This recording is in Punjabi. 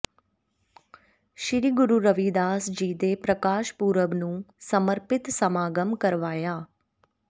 ਸ੍ਰੀ ਗੁਰੂ ਰਵਿਦਾਸ ਜੀ ਦੇ ਪ੍ਰਕਾਸ਼ ਪੁਰਬ ਨੂੰ ਸਮਰਪਿਤ ਸਮਾਗਮ ਕਰਵਾਇਆ